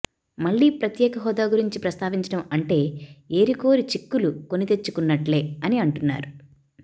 మళ్లీ ప్రత్యేక హోదా గురించి ప్రస్తావించడం అంటే ఏరికోరి చిక్కులు కొనితెచ్చుకున్నట్లే అని అంటున్నారు